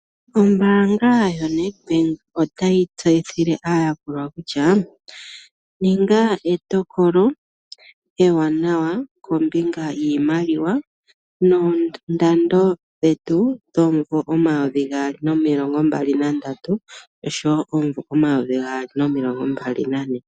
Ombaanga yoNEDBANK otayi tseyithile aayakulwa kutya," Ninga etokolo ewanawa kombinga yiimaliwa noondando dhetu dhomumvo omayovi gaali nomilongo mbali nandatu osho wo omumvo omayovi gaali nomilongo mbali nane".